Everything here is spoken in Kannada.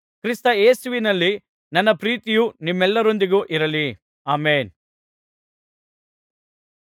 ಕ್ರಿಸ್ತ ಯೇಸುವಿನಲ್ಲಿ ನನ್ನ ಪ್ರೀತಿಯು ನಿಮ್ಮೆಲ್ಲರೊಂದಿಗೆ ಇರಲಿ ಅಮೆನ್